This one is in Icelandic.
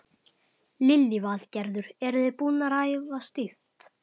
Lillý Valgerður: Eru þið búnar að æfa stíft?